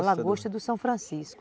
A lagosta do São Francisco.